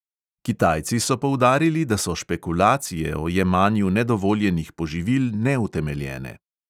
Kitajci so poudarili, da so špekulacije o jemanju nedovoljenih poživil neutemeljene.